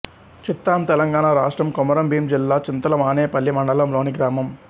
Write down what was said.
చిత్తాం తెలంగాణ రాష్ట్రం కొమరంభీం జిల్లా చింతల మానేపల్లి మండలంలోని గ్రామం